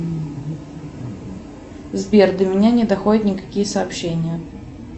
сбер до меня не доходят никакие сообщения